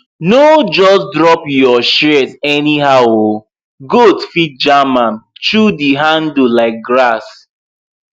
no just drop your shears anyhow oh goat fit jam am chew di handle like grass